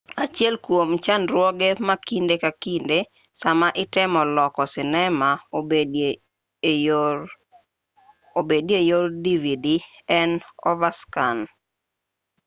achiel kwom chandruoge ma kinde ka kinde sama itemo loko sinema obedi e yor dvd en overscan